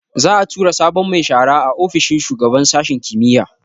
Za'a tura sabon mai shara a ofishin shugaban sashin kimiyya